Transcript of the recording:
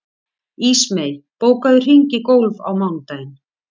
Ísmey, bókaðu hring í golf á mánudaginn.